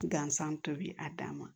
Gansan tobi a dan ma